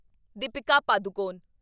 Deepika Padukone